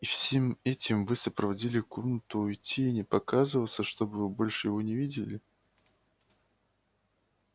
и всем этим вы сопроводили комнату уйти и не показываться чтобы вы больше его не видели